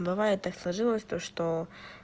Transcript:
бывает так сложилось то что